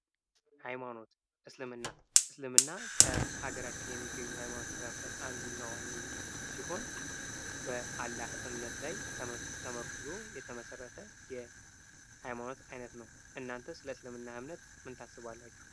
ሃይማኖት እስልምና እስልምና ከሀገራችን ከሚገኙ የሃይማኖት መካከል አንዱ ዋነኛው ሲሆን በአላህ እምነት ላይ ተመርኩዞ የተመሰረተ ሃይማኖት አይነት ነው። እናንተስ ስለ እስልምና እምነት ምን ታስባላችሁ?